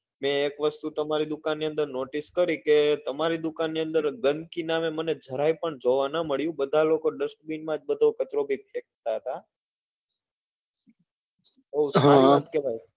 એક વસ્તુ તમરી દુકાન ની અંદર notice કરી કે તમરી દુકાન ની અંદર ગંદકી નામે મને જરાય પણ જોવા નાં મળ્યું બધા લોકો dustbin માં જ બધો કચરો ફેંકતા હતા